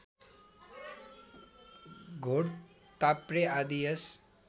घोडताप्रे आदि यस